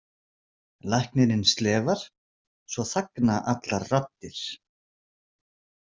Læknirinn slefar, svo þagna allar raddir.